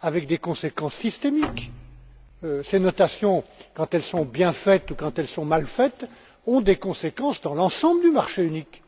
avec des conséquences systémiques. Ces notations, quand elles sont bien faites ou quand elles sont mal faites, ont des conséquences dans l'ensemble du marché unique.